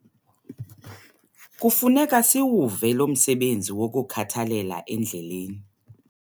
Kufuneka siwuve lo msebenzi wokukhathalela endleleni.